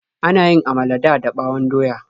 Ana yin amala dada ɓawon doya.